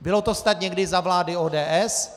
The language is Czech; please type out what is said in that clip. Bylo to snad někdy za vlády ODS?